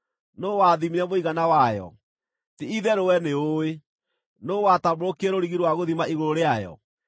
Nũũ wathimire mũigana wayo? Ti-itherũ wee nĩũũĩ! Nũũ watambũrũkirie rũrigi rwa gũthima igũrũ rĩayo?